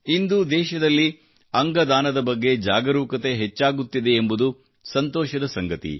ಇಂದು ದೇಶದಲ್ಲಿ ಅಂಗ ದಾನದ ಬಗ್ಗೆ ಜಾಗರೂಕತೆ ಹೆಚ್ಚಾಗುತ್ತಿದೆ ಎಂಬುದು ಸಂತೋಷದ ಸಂಗತಿ